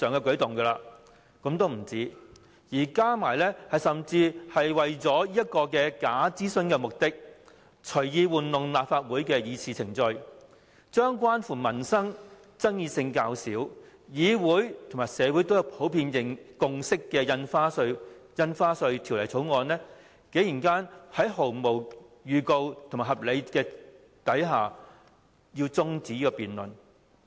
更有甚者，政府為了完成這項假諮詢，隨意操弄立法會的議事程序，將關乎民生、爭議性較少，議會和社會都達致普遍共識的《條例草案》，在毫無預告的情況下，未有提出任何合理原因便中止這項辯論。